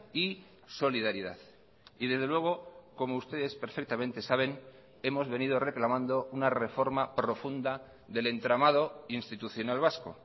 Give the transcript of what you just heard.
y solidaridad y desde luego como ustedes perfectamente saben hemos venido reclamando una reforma profunda del entramado institucional vasco